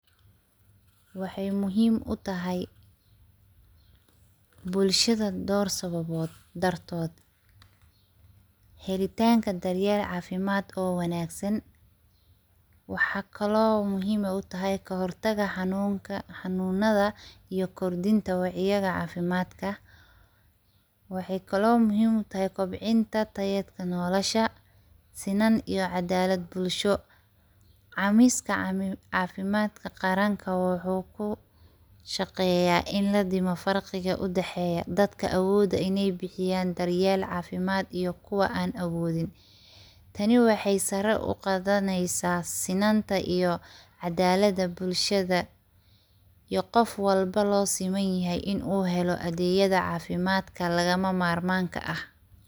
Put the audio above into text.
Waxay muxiim utaxay bulshada door sababodh dartodh, helitanka daryel cafimad oo wanagsan, waxakalo muxiim utaxay kahor taga xanunka xanunada iyo kordinta wax yadha cafimadka, waxay kalo muxiim utaxay kobcinta tayedka nolasha sinan iyo cadalad bulsho, camiska cafimadka qaranka wuxu kushaqeya in ladimo farqiga udexeyo dadka awoda inay bihiyan daryel cafimad iyo kuwa an awodin, tani waxay sari uqadaneysa sinanta iyo cadalada bulshada, iyo gofwalbo usimanyaxay inu heloo adegyada cafimadka lagamamarmarka ah.